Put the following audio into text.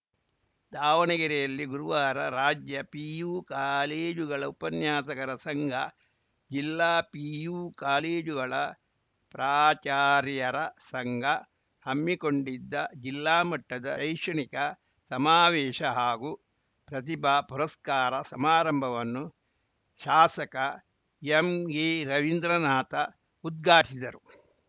ದಾವಣಗೆರೆಯಲ್ಲಿ ಗುರುವಾರ ರಾಜ್ಯ ಪಿಯು ಕಾಲೇಜುಗಳ ಉಪನ್ಯಾಸಕರ ಸಂಘ ಜಿಲ್ಲಾ ಪಿಯು ಕಾಲೇಜುಗಳ ಪ್ರಾಚಾರ್ಯರ ಸಂಘ ಹಮ್ಮಿಕೊಂಡಿದ್ದ ಜಿಲ್ಲಾಮಟ್ಟದ ಶೈಕ್ಷಣಿಕ ಸಮಾವೇಶ ಹಾಗೂ ಪ್ರತಿಭಾ ಪುರಸ್ಕಾರ ಸಮಾರಂಭವನ್ನು ಶಾಸಕ ಎಂಎರವೀಂದ್ರನಾಥ ಉದ್ಘಾಟಿಸಿದರು